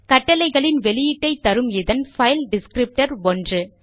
கட்டளைகளின் வெளியீட்டை தரும் இதன் பைல் டிஸ்க்ரிப்டர் 1